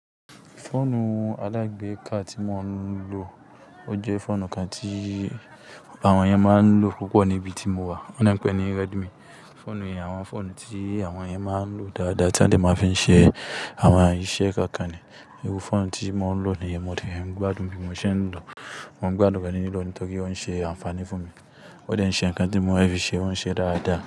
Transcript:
Fóònù alágbe ká tí mo ń lò, ó jẹ́ fóònù kan tí àwọn yẹn máa ń lò púpọ̀ níbi tí mo wà. Wọ́n de ń pè é ní Redmi. Fóònù yẹn, àwọn fóònù tí àwọn yẹn máa ń lò dáadáa tí wọ́n sì máa fi ń ṣe àwọn iṣẹ́ kọ̀ọ̀kan ni. Iru fóònù tí mo ń lò nìyẹn, mo de gbádùn bí mo ṣe ń lò ó. Mo ń gbádùn rẹ́ ní lílò ó nítorí ó ń ṣe àǹfààní fún mi. Ó dẹ̀ ń ṣe nǹkan tí mo fẹ́ fi ṣe, ó ń ṣe é dáadáa.